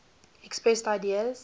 expressed ideas